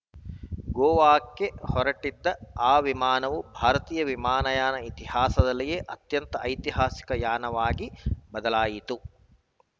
ಗೋವಾಕ್ಕೆ ಹೊರಟಿದ್ದ ಆ ವಿಮಾನವು ಭಾರತೀಯ ವಿಮಾನಯಾನ ಇತಿಹಾಸದಲ್ಲಿಯೇ ಅತ್ಯಂತ ಐತಿಹಾಸಿಕ ಯಾನವಾಗಿ ಬದಲಾಯಿತು